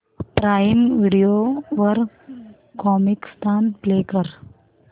prime Video वर Comicstaan play कर